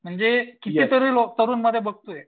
म्हणजे कितीतरी लोक तरुण मध्ये बघतोय